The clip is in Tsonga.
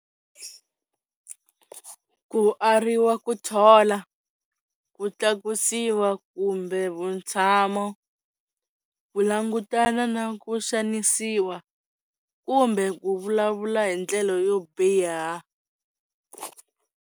Ku ariwa ku thola, ku tlakusiwa kumbe vutshamo, ku langutana na ku xanisiwa, kumbe ku vulavula hi ndlela yo biha.